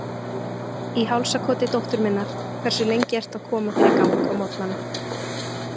Í hálsakoti dóttur minnar Hversu lengi ertu að koma þér í gang á morgnanna?